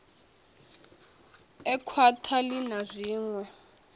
e khwakhwa ii na zwiṋwe